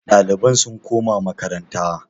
ɗaliban sun koma makaranta?